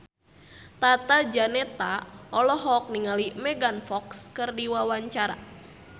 Tata Janeta olohok ningali Megan Fox keur diwawancara